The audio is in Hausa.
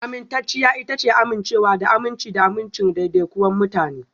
Amintacciya ita ce amincewa da aminci da amincin daidaikun mutane